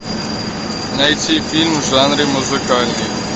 найти фильм в жанре музыкальный